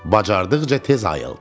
Bacardıqca tez ayıldı.